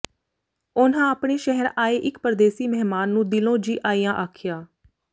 ਉਨ੍ਹਾਂ ਆਪਣੇ ਸ਼ਹਿਰ ਆਏ ਇੱਕ ਪ੍ਰਦੇਸੀ ਮਹਿਮਾਨ ਨੂੰ ਦਿਲੋਂ ਜੀ ਆਇਆਂ ਆਖਿਆ